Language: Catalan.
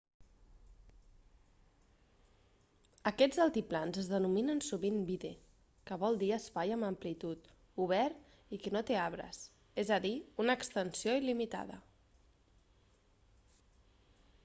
aquests altiplans es denominen sovint vidde que vol dir espai amb amplitud obert i que no té arbres és a dir una extensió il·limitada